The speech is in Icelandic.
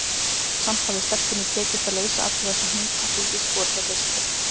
Samt hafði stelpunni tekist að leysa alla þessa hnúta, því víst voru þeir leystir.